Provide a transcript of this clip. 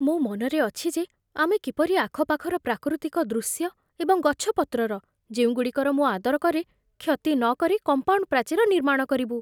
ମୋ ମନରେ ଅଛି ଯେ ଆମେ କିପରି ଆଖପାଖର ପ୍ରାକୃତିକ ଦୃଶ୍ୟ ଏବଂ ଗଛପତ୍ରର, ଯେଉଁଗୁଡ଼ିକର ମୁଁ ଆଦର କରେ, କ୍ଷତି ନକରି କମ୍ପାଉଣ୍ଡ୍ ପ୍ରାଚୀର ନିର୍ମାଣ କରିବୁ